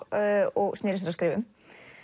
og snéri sér að skrifum